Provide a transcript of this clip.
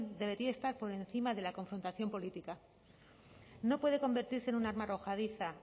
debería estar por encima de la confrontación política no puede convertirse en un arma arrojadiza